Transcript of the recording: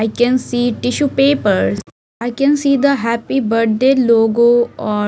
i can see tissue papers i can see the happy birthday logo or --